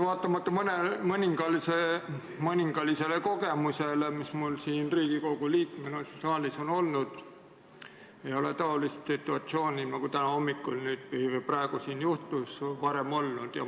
Vaatamata mõningasele kogemusele, mis mul Riigikogu liikmena siin saalis on olnud, ei ole taolist situatsiooni, nagu praegu siin juhtus, varem olnud.